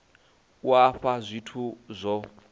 a u fhaa zwithu zwo